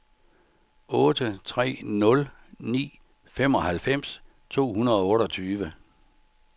otte tre nul ni femoghalvfems to hundrede og otteogtyve